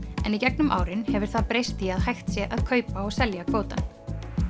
en í gegnum árin hefur það breyst í að hægt sé að kaupa og selja kvótann